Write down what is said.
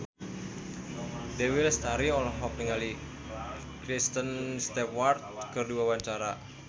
Dewi Lestari olohok ningali Kristen Stewart keur diwawancara